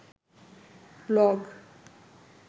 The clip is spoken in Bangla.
ব্লগ